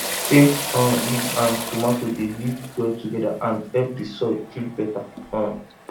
scent um leaf and tomato dey live well together and help the soil feel better um